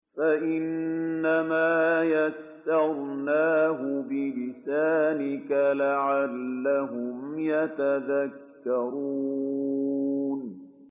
فَإِنَّمَا يَسَّرْنَاهُ بِلِسَانِكَ لَعَلَّهُمْ يَتَذَكَّرُونَ